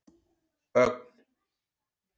Ögn